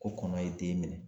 Ko kɔnɔ ye den minɛ.